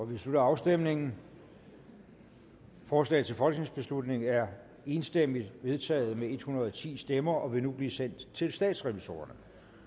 vi slutter afstemningen forslaget til folketingsbeslutning er enstemmigt vedtaget med en hundrede og ti stemmer og vil nu blive sendt til statsrevisorerne